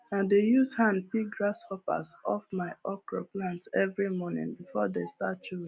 i dey use hand pick grasshoppers off my okra plants every morning before they start chewing